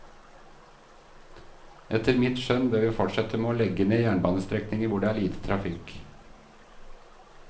Etter mitt skjønn bør vi fortsette med å legge ned jernbanestrekninger hvor det er lite trafikk.